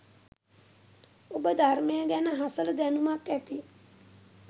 ඔබ ධර්මය ගැන හසල දැනුමක් ඇති